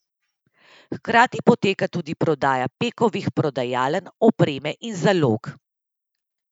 Hkrati poteka tudi prodaja Pekovih prodajaln, opreme in zalog.